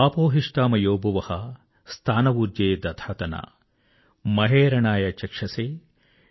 ఆపో హిష్ఠా మయో భువః స్థా న ఊర్జే దధాతన మహేరణాయ చక్షసే